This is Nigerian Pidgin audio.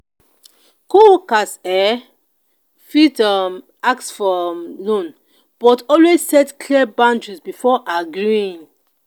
co-workers um fit um ask for um loan but always set clear boundaries before agreeing.